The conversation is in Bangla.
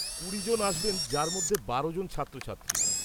কুড়ি জন আসবেন যার মধ্যে বারোজন ছাত্রছাত্রী।